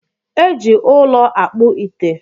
Eji ụlọ akpụ ite